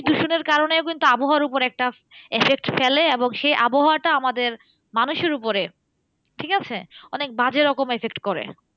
দূষণের কারণেও কিন্তু আবহাওয়ার উপরে একটা effect ফেলে এবং সেই আবহাওয়াটা আমাদের মানুষের উপরে। ঠিকাছে? অনেক বাজে রকম effect করে।